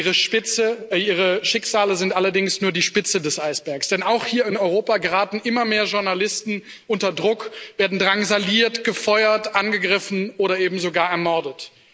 Ihre Schicksale sind allerdings nur die Spitze des Eisbergs, denn auch hier in Europa geraten immer mehr Journalisten unter Druck, werden drangsaliert, gefeuert, angegriffen oder eben sogar ermordet.